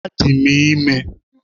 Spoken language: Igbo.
Adị m ime